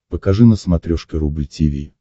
покажи на смотрешке рубль ти ви